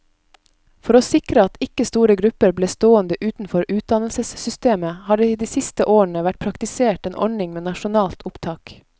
For å sikre at ikke store grupper ble stående utenfor utdannelsessystemet, har det de siste årene vært praktisert en ordning med nasjonalt opptak.